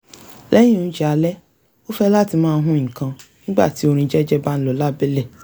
lẹ́yìn oúnjẹ alẹ́ ó fẹ́ láti máa hun nǹkan nígbà tí orin jẹ́jẹ́ bá ń lọ lábẹ́lẹ̀